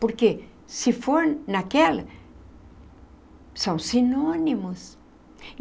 Porque se for naquela, são sinônimos.